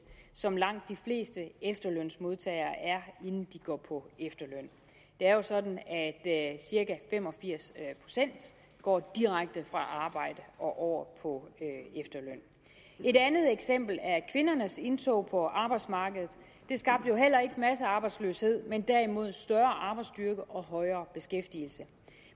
som langt de fleste efterlønsmodtagere er inden de går på efterløn det er jo sådan at cirka fem og firs procent går direkte fra arbejde og over på efterløn et andet eksempel er kvindernes indtog på arbejdsmarkedet det skabte jo heller ikke massearbejdsløshed men derimod en større arbejdsstyrke og højere beskæftigelse